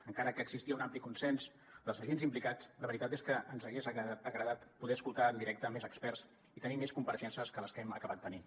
encara que existia un ampli consens dels agents implicats la veritat és que ens hagués agradat poder escoltar en directe més experts i tenir més compareixences que les que hem acabat tenint